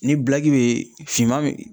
Ni be finman